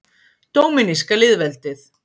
Dóminíska lýðveldið